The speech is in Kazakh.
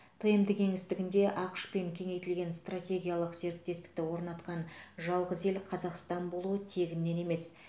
тмд кеңістігінде ақш пен кеңейтілген стратегиялық серіктестікті орнатқан жалғыз ел қазақстан болуы тегіннен емес